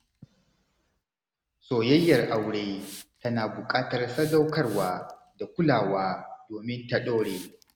Soyayyar aure tana buƙatar sadaukarwa da kulawa domin ta ɗore.